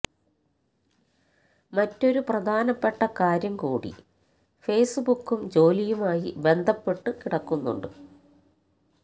മറ്റൊരു പ്രധാനപ്പെട്ട കാര്യം കൂടി ഫേസ്ബുക്കും ജോലിയുമായി ബന്ധപ്പെട്ടു കിടക്കുന്നുണ്ട്